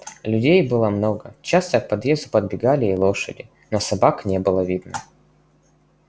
людей было много часто к подъезду подбегали и лошади но собак не было видно